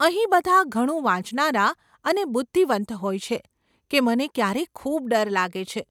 અહીં બધાં ઘણું વાંચનારા અને બુધ્ધિવંત હોય છે કે મને ક્યારેક ખૂબ ડર લાગે છે.